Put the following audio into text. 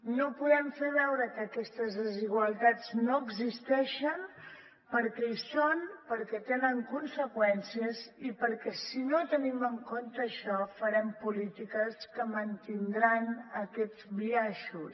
no podem fer veure que aquestes desigualtats no existeixen perquè hi són perquè tenen conseqüències i perquè si no tenim en compte això farem polítiques que mantindran aquests biaixos